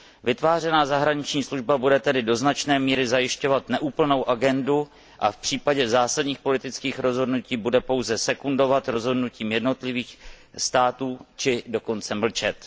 Vytvářená zahraniční služba bude tedy do značné míry zajišťovat neúplnou agendu a v případě zásadních politických rozhodnutí bude pouze sekundovat rozhodnutím jednotlivých států, či dokonce mlčet.